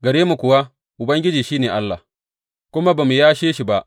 Gare mu kuwa, Ubangiji shi ne Allah, kuma ba mu yashe shi ba.